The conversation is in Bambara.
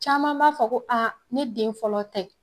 Caman b'a fɔ ko ne den fɔlɔ tɛ